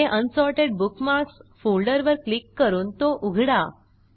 पुढे unsorted bookmarks फोल्डरवर click करून तो उघडा